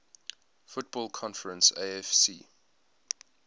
football conference afc